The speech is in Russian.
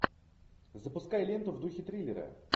запускай ленту в духе триллера